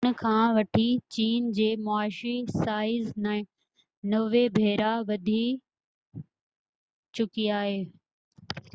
ان کان وٺي چين جي معاشي سائيز 90 ڀيرا وڌي چڪي آهي